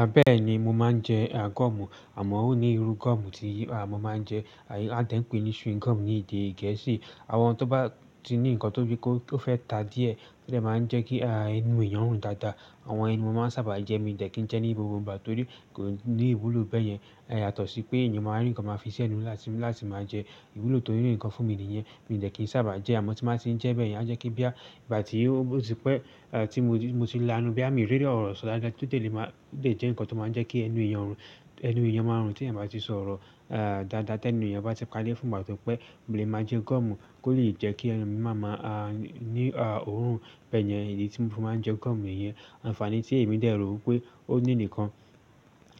A bè ni mo máa ń jẹ ah gum, àmọ́ ó ní irú gum tí a mọ máa ń jẹ, a dẹ́ n pè é ní chewing gum ní èdè Gẹ̀ẹ́sì. Àwọn tó bá ti ní nǹkan tó bí kò tí ó fẹ́ ta díẹ̀, ó dẹ̀ máa ń jẹ́ kí ah ẹnu èèyàn rùn dáadáa. Àwọn yẹn mo máa ń sábà jẹ́, mi ò dẹ́kì ń jẹ́ ní gbogbo ìgbà torí kò ní ìwúlò bẹ́ẹ̀ yẹn. È yatọ́ sí pé èèyàn máa rí nǹkan máa fi ṣ'ẹnu láti máa jẹ́. Ìwúlò tó ní nikan fún mi nìyẹn, mi ò dẹ́kì ń sábà jẹ́ àmọ́ tí máa ti ń jẹ́ bẹ́ẹ̀ yẹn, á jẹ́ kí bí à tí ó ti pẹ́, eh tí mo ti la ẹnu, bí à mí rẹ́rẹ́ ọ̀rọ̀ sọ dáadáa títí lè máa lè jẹ́ nǹkan tó máa ń jẹ́ kí ẹnu èèyàn rùn. Ẹnu èèyàn máa rùn tí ẹ̀ bá ti sọ̀rọ̀ ah dáadáa tẹ́ ẹnu èèyàn bá ti padẹ̀ fún ìgbà to pé mo lè máa jẹ́ gum, kó lè jẹ́ kí ẹnu mi máa mọ́ ah ní ah òórùn bẹ́ẹ̀ yẹn, ìdí tí mo fi máa ń jẹ́ gum nìyẹn. Àǹfààní tí èmi dè rò wí pé ó ní nìkan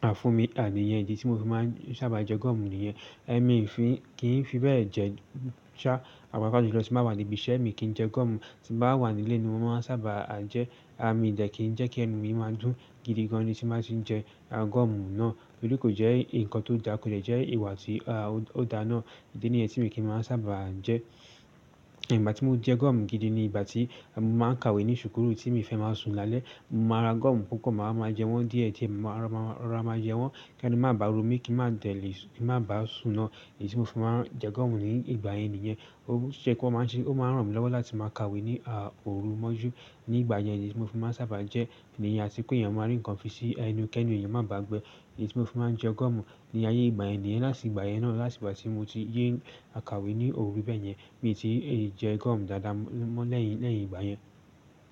ah fún mi, àní yẹn, ìdí tí mo fi máa ń sábà jẹ́ gum nìyẹn. Ẹ̀mí ì fi kì í fi bẹ́ẹ̀ jẹ́ ṣá àpapa jùlọ tí bà wà ní ibi iṣẹ́ mi kì í jẹ́ gum. Tí bá wà ní ilé ni mo máa ń sábà ah jẹ́. Ah mi ò dẹ́kì ń jẹ́ kí ẹnu mi máa dùn gidi gan ni tí máa ti ń jẹ́ ah gum náà. Torí kò jẹ́ nǹkan tó dàá, kò dè jẹ́ ìwà tí ah ó da náà. Ìdí nìyẹn tí mo kì í máa ń sábà jẹ́. Ẹ̀ ìgbà tí mo jẹ́ gum gidi ni ìgbà tí mo máa ń kàwé ní sùúkùú tí mi fẹ́ máa sùn lálẹ́. Mo máa ra gum púpọ̀, màá máa jẹ wọ́n díẹ̀díẹ̀, màá rọ́ra máa jẹ wọ́n kí ẹnu mi má ba rú mi kí n má dẹ̀ lè, kí n má ba sùn náà, èyí tí mo fi máa ń jẹ́ gum ní ìgbà yẹn nìyẹn. Ó ṣe pé ó máa ń ṣe, ó máa ń ràn mí lọ́wọ́ láti máa kàwé ní ah òru mọ́jú ní ìgbà yẹn, èyí tí mo fi máa ń sábà jẹ́. Ẹ̀ nìyẹn, àti pé èèyàn máa ní nǹkan fi ṣí ẹnu kí ẹnu èèyàn má bàá gbẹ, èyí tí mo fi máa ń jẹ́ gum. Ní ayé ìgbà yẹn nìyẹn, láti ìgbà yẹn náà láti ìgbà tí mo ti yé n kàwé ní òru bẹ́ẹ̀ yẹn, mi ò tí ì jẹ́ gum dáadáa mọ́ lẹ́yìn, lẹ́yìn ìgbà yẹn.